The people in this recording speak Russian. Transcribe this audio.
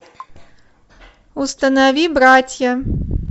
установи братья